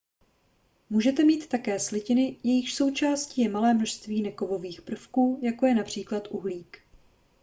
můžete mít také slitiny jejichž součástí je malé množství nekovových prvků jako je například uhlík